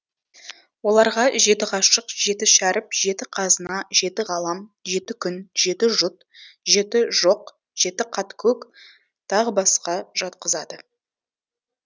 оларға жеті ғашық жеті шәріп жеті қазына жеті ғалам жеті күн жеті жұт жеті жоқ жеті қат көк тағы басқа жатқызады